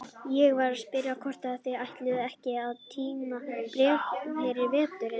Ég var að spyrja hvort þau ætluðu ekki að tína ber fyrir veturinn.